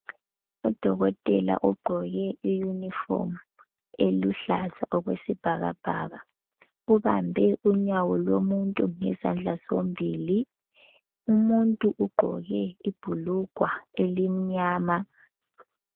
Udokotela ugqoke iyunifomu eluhlaza okwesibhakabhaka. Ubambe unyawo lomuntu ngezandla zombili. Umuntu ugqoke ibhulugwa elimnyama.